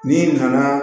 N'i nana